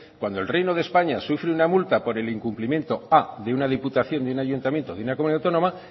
cuando el reino de españa sufre una multa por el incumplimiento de una diputación de un ayuntamiento de una comunidad autónoma